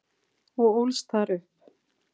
og ólst þar upp.